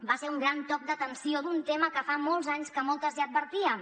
va ser un gran toc d’atenció d’un tema que fa molts anys que moltes ja advertíem